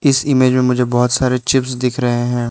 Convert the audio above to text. इस इमेज में मुझे बहुत सारे चिप्स दिख रहे हैं।